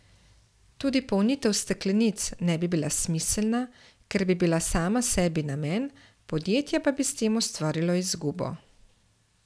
Tudi polnitev steklenic ne bi bila smiselna, ker bi bila sama sebi namen, podjetje pa bi s tem ustvarilo izgubo.